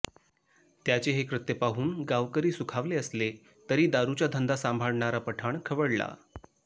त्याचे हे कृत्य पाहून गावकरी सुखावले असले तरी दारूचा धंदा सांभाळणारा पठाण खवळला